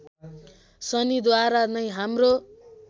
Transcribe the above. शनिद्वारा नै हाम्रो